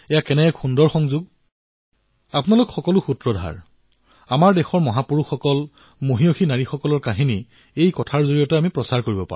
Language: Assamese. আৰু আপোনালোকৰ দৰে ষ্টৰীটেলাৰ যিসকল অন্য লোক আছে আমি কিদৰে আমাৰ নতুন প্ৰজন্মক আমাৰ মহান মহাপুৰুষ মহান মাতৃভগ্নীসকলৰ কাহিনীৰ সৈতে তেওঁলোকক জড়িত কৰোৱাব পাৰো